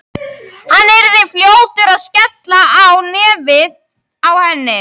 Hann yrði fljótur að skella á nefið á henni.